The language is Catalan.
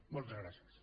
moltes gràcies